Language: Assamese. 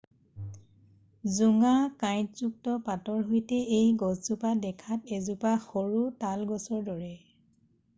জোঙা কাইঁটযুক্ত পাতৰ সৈতে এই গছজোপা দেখাত এজোপা সৰু তাল গছৰ দৰে